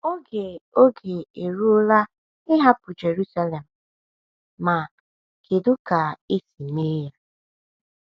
Oge Oge eruola ịhapụ Jerusalem — ma kedu ka esi mee ya?